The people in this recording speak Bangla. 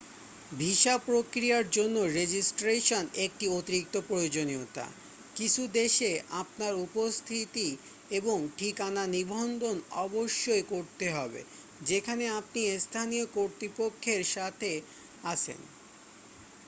ভিসা প্রক্রিয়ার জন্য রেজিস্ট্রেশন একটি অতিরিক্ত প্রয়োজনীয়তা কিছু দেশে আপনার উপস্থিতি এবং ঠিকানা নিবন্ধন অবশ্যই করতে হবে যেখানে আপনি স্থানীয় কর্তৃপক্ষের সাথে আছেন